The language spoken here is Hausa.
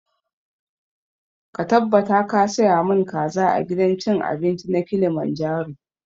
Ka tabbata ka saya mun kaza a gidan cin abinci na kilimanjaro!